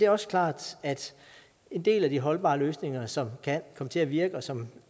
også klart at en del af de holdbare løsninger som kan komme til at virke og som